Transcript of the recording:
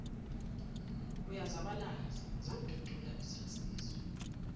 uyazabalaza zamdudula izinsizwa